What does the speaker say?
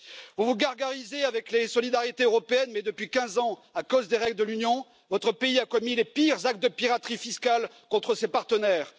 Vous vous gargarisez avec les solidarités européennes, mais depuis 15 ans, à cause des règles de l'Union, votre pays a commis les pires actes de piraterie fiscale contre ses partenaires.